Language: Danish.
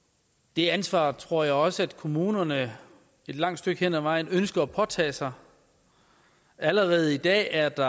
det ansvar tror jeg også at kommunerne et langt stykke hen ad vejen ønsker at påtage sig allerede i dag er der